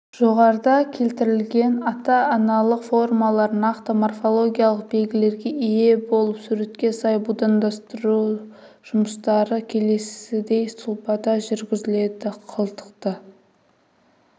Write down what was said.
жоғарыда келтірілген ата-аналық формалар нақты морфологиялық белгілерге ие болып суретке сай будандастыру жұмыстары келесідей сұлбада жүргізілді қылтықты